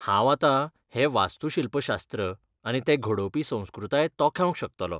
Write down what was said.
हांव आतां हें वास्तूशिल्पशास्त्र आनी तें घडोवपी संस्कृताय तोखेवंक शकतलों.